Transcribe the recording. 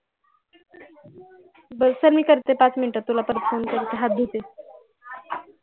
बर चाल मी तुला करते पाच मिनिटात तुला परात phone करते हात धुते